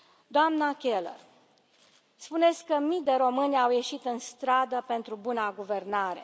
Doamnă Keller, spuneți că mii de români au ieșit în stradă pentru buna guvernare.